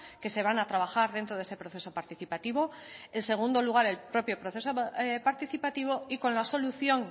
que se van a trabajar dentro de ese proceso participativo en segundo lugar el propio proceso participativo y con la solución